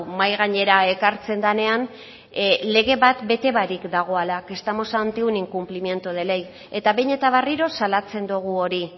mahai gainera ekartzen denean lege bat bere barik dagoela que estamos ante un incumplimiento de ley eta behin eta berriro salatzen dugu hori